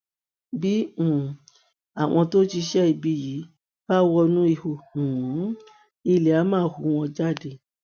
bí um àwọn tó ṣiṣẹ ibi yìí bá wọnú ihò um ilé á máa hù wọn jáde